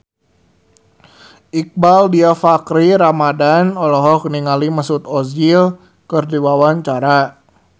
Iqbaal Dhiafakhri Ramadhan olohok ningali Mesut Ozil keur diwawancara